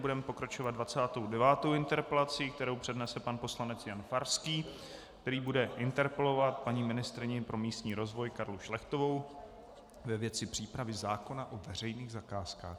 Budeme pokračovat 29. interpelací, kterou přednese pan poslanec Jan Farský, který bude interpelovat paní ministryni pro místní rozvoj Karlu Šlechtovou ve věci přípravy zákona o veřejných zakázkách.